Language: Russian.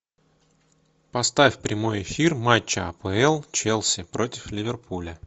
поставь прямой эфир матча апл челси против ливерпуля